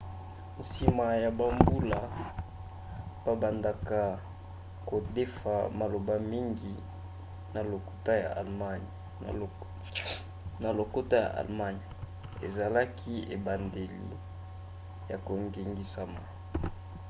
nsima ya bambula babandaka kodefa maloba mingi na lokota ya allemagne. ezalaki ebandeli ya kongengisama